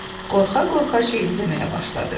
Qorxa-qorxa şeiri deməyə başladı.